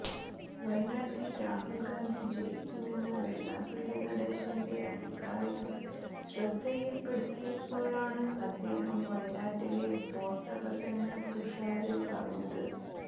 വയനാട്ടിൽ രാഹുൽ ഗാന്ധി ജയിക്കുമെന്ന വെള്ളാപ്പള്ളി നടേശന്റെ അഭിപ്രായം ശ്രദ്ധയിൽപ്പെടുത്തിയപ്പോഴാണ് അദ്ദേഹം വയനാട്ടിലെ വോട്ടർ അല്ലെന്ന് തുഷാര് പറഞ്ഞത്